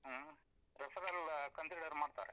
ಹ್ಮ್, referral consider ಮಾಡ್ತಾರೆ.